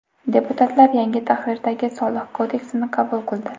Deputatlar yangi tahrirdagi soliq kodeksini qabul qildi.